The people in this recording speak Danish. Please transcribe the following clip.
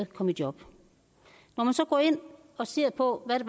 kom i job når man så går ind og ser på hvad det